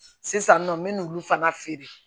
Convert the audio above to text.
Sisan nɔ n bɛ n'u fana feere